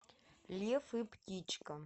лев и птичка